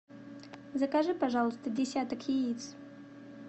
закажи пожалуйста десяток яиц